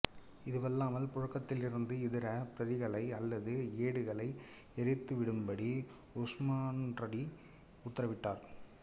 இதுவல்லாமல் புழக்கத்திலிருந்த இதர பிரதிகளை அல்லது ஏடுகளை எரித்து விடும்படி உஸ்மான்ரலி உத்தரவிட்டார்கள்